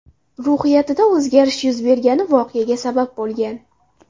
ruhiyatida o‘zgarish yuz bergani voqeaga sabab bo‘lgan.